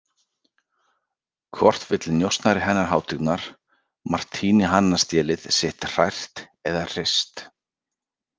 Hvort vill njósnari hennar hátignar Martini hanastélið sitt hrært eða hrist?